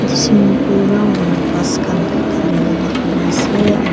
swimming pool round kuri kena ghas khan dhali lagai na ase aro--